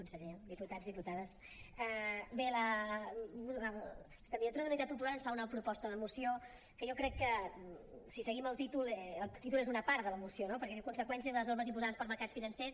conseller diputats diputades bé la candidatura d’unitat popular ens fa una proposta de moció que jo crec que si seguim el títol el títol és una part de la moció no perquè diu conseqüències de les normes imposades pels mercats financers